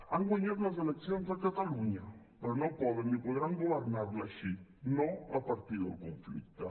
han guanyat les eleccions a catalunya però no poden ni podran governar la així no a partir del conflicte